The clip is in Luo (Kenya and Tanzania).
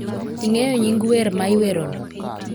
ing'eyo nying wer ma iwerono